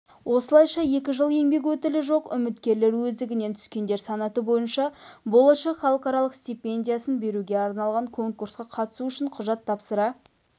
осылайша екі жыл еңбек өтілі жоқ үміткерлер өздігінен түскендер санаты бойынша болашақ халықаралық стипендиясын беруге арналған конкурсқа қатысу үшін құжат тапсыра